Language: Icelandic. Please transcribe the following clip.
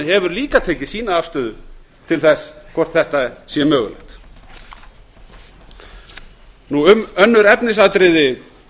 hefur líka tekið sína afstöðu til þess hvort þetta sé mögulegt um önnur efnisatriði